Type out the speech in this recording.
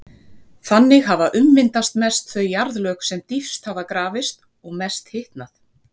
Þannig hafa ummyndast mest þau jarðlög sem dýpst hafa grafist og mest hitnað.